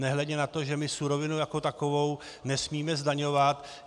Nehledě na to, že my surovinu jako takovou nesmíme zdaňovat.